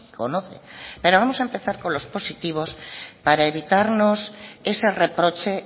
conoce pero vamos a empezar con los positivos para evitarnos ese reproche